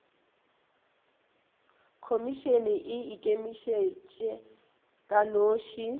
khomišene e ikemetše ka noši